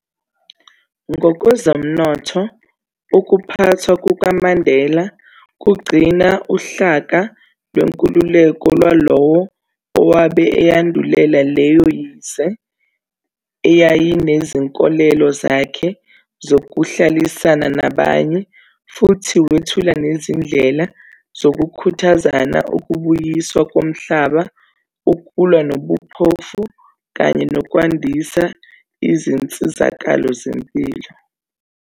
Ngokwezezomnotho, ukuphathwa kukaMandela kugcina uhlaka lwenkululeko lwalowo owabe eyandulela leyo yize ayenezinkolelo zakhe zokuhlalisana nabanye, futhi wethula nezindlela zokukhuthaza ukubuyiswa komhlaba, ukulwa nobuphofu kanye nokwandisa izinsizakalo zezempilo.